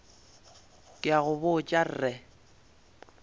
ke a go botša re